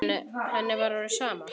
Henni var orðið sama.